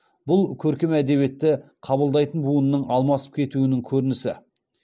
бұл көркем әдебиетті қабылдайтын буынның алмасып кетуінің көрінісі